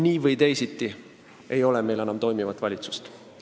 Nii või teisiti ei ole meil enam toimivat valitsust.